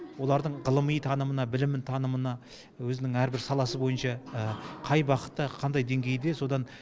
олардың ғылыми танымына білімін танымына өзінің әрбір саласы бойынша қай бағытта қандай деңгейде содан